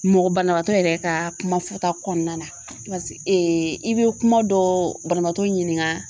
Mɔgɔ banabatɔ yɛrɛ ka kuma fɔta kɔnɔna na i bɛ kuma dɔ banabaatɔ ɲininka